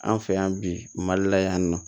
An fɛ yan bi mali la yan nɔ